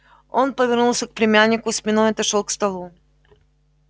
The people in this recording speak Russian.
он повернулся к племяннику спиной и отошёл к столу